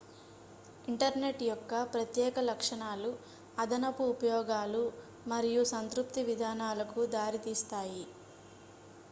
internet యొక్క ప్రత్యేక లక్షణాలు అదనపు ఉపయోగాలు మరియు సంతృప్తి విధానాలకు దారి తీస్తాయి